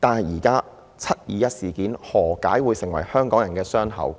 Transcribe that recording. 何解"七二一"事件會變成香港人的傷口？